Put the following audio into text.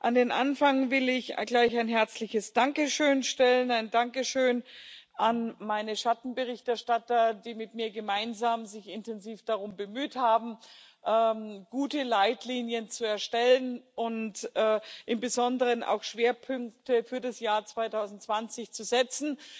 An den Anfang will ich gleich ein herzliches Dankeschön stellen, ein Dankeschön an meine Schattenberichterstatter, die sich mit mir gemeinsam intensiv darum bemüht haben, gute Leitlinien zu erstellen und im Besonderen auch Schwerpunkte für das Jahr 2020 zu setzen.